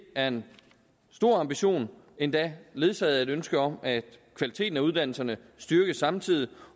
er en stor ambition endda ledsaget af et ønske om at kvaliteten af uddannelserne styrkes samtidig